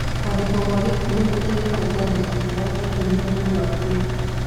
Kũandĩkwo gwa gĩkuũ nĩ gũteithagia kwandĩka kĩrĩa gĩatũmire mũndũ akue.